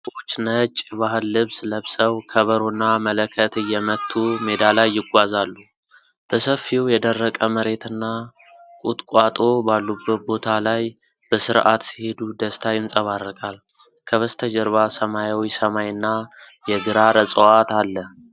ሰዎች ነጭ የባህል ልብስ ለብሰው ከበሮና መለከት እየመቱ ሜዳ ላይ ይጓዛሉ። በሰፊው የደረቀ መሬትና ቁጥቋጦ ባሉበት ቦታ ላይ፣ በስርዓት ሲሄዱ ደስታ ይንጸባረቃል። ከበስተጀርባ ሰማያዊ ሰማይ እና የግራር እጽዋት አለ።